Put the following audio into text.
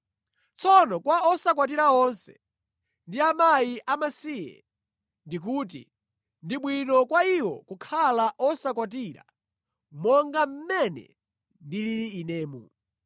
Tsono kwa osakwatira onse, ndi akazi amasiye ndikuti, ndi bwino kwa iwo kukhala osakwatira monga mmene ndilili inemu.